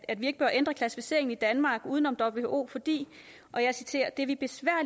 at vi ikke bør ændre klassificeringen i danmark uden om who fordi og jeg citerer